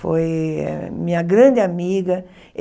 Foi minha grande amiga.